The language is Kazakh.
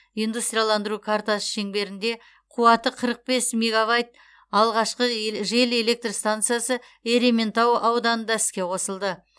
индустрияландыру картасы шеңберінде қуаты қырық бес мегавайт алғашқы эл жел электр станциясы ерейментау ауданында іске қосылды